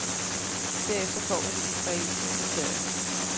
Derefter kommer de israelske kriterier.